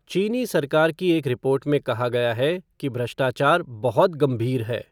चीनी सरकार की एक रिपोर्ट में कहा गया है कि भ्रष्टाचार "बहुत गंभीर" है।